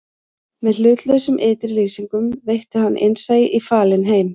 Með hlutlausum ytri lýsingum veitti hann innsæi í falinn heim